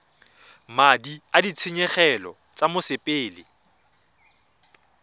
madi a ditshenyegelo tsa mosepele